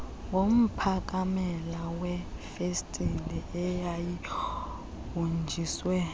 ngomphakamela wefesitile eyayihonjiswe